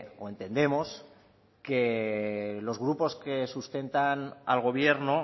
o entendemos que los grupos que sustentan al gobierno